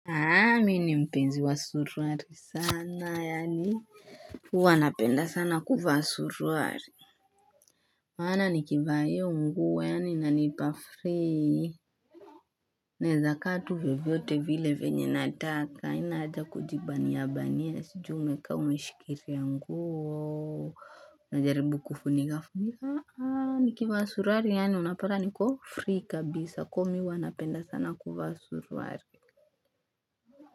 Nami ni mpenzi wa suruali sana yaani, huwa napenda sana kuwa suruali maana nikivaa hivyo huwa yaani inanipa free naweza kaa tu vyovyote vile vyenye nataka haina haja kujibania bania sijui ni kaa umeshikiria nguo Najaribu kufunikafunika nikivaa suruali yaani unapata niko free kabisa. Kwa hivyo mimi huwa napenda sana kuwa suruali.